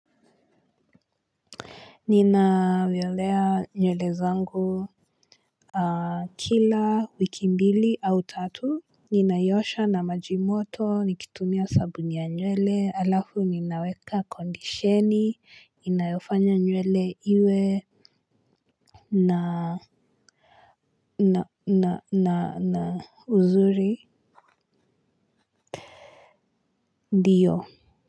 Ninavyolea nywele zangu. Kila wiki mbili au tatu ninaiosha na majimoto nikitumia sabuni ya nywele halafu ninaweka kondisheni inayofanya nywele iwe na na na na uzuri ndiyo.